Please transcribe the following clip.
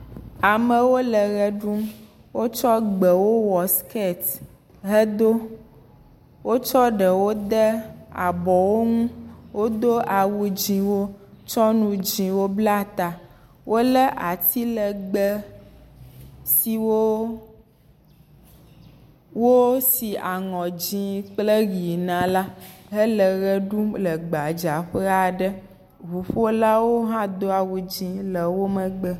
Amewo le ʋe ɖum wotsɔ gbewo wɔ siketi, hedo wotsɔ ɖewo de abɔwo ɛu qwodo awu dzɛ̃wo tsɔ nu dzɛ̃wo blata, wotsɔ ati legbe siwo wo si aŋɔ dzɛ̃ kple ʋi na la hele ʋe ɖum le gbadza ƒe, ŋuƒolawo hã le wo megbe.